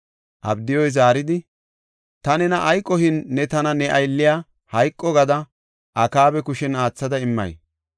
Abdiyuy zaaridi, “Ta nena ay qohin ne tana ne aylliya hayqo gada Akaaba kushen aathada immay?